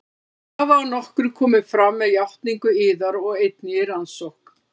Þær hafa að nokkru komið fram með játningu yðar og einnig í rannsókn